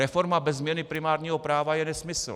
Reforma bez změny primárního práva je nesmysl.